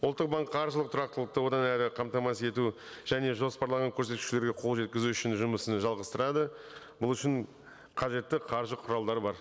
ұлттық банк қаржылық тұрақтылықты одан әрі қамтамасыз ету және жоспарлаған көрсеткіштерге қол жеткізу үшін жұмысын жалғастырады бұл үшін қажетті қаржы құралдары бар